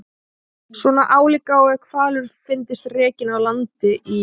Svona álíka og ef hvalur fyndist rekinn á land í